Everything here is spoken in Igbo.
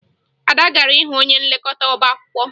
Ada gara hụ onye nlekọta ọbaakwụkwọ